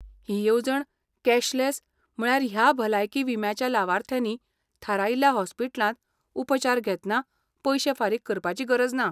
ही येवजण कॅशलॅस, म्हळ्यार ह्या भलायकी विम्याच्या लावार्थ्यांनी थारायिल्ल्या हॉस्पिटलांत उपचार घेतना पयशें फारीक करपाची गरज ना.